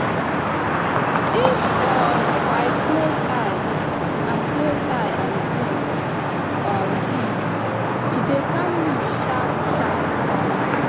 if um i close eye and close eye and breathe um deep e dey calm me sharpsharp um